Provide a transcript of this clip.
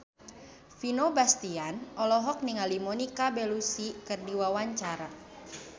Vino Bastian olohok ningali Monica Belluci keur diwawancara